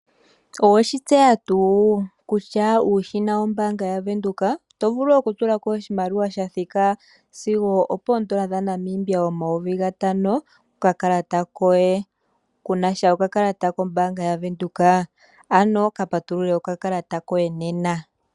Owe shi tseya tuu kutya uushina wombaanga yaVenduka oto vulu okutula ko oshimaliwa sha thika sigo opooN$ 5000 kokakalata koye. Ku na sha okakalata kombaanga yaVEnduka? Ano ka patulule okakalata koye nena.